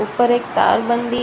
ऊपर एक तार बंदी --